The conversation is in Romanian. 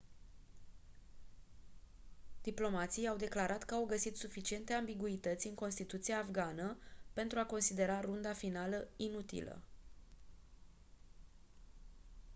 diplomații au declarat că au găsit suficiente ambiguități în constituția afgană pentru a considera runda finală inutilă